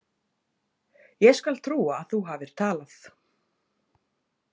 Ég skal trúa að þú hafir talað.